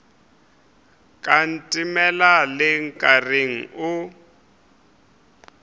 ka ntemela le nkareng o